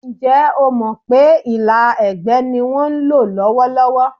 Ǹjẹ́ o mọ̀ pé ìlà ẹ̀gbẹ́ ni wọ́n ń lò lọ́wọ́lọ́wọ́?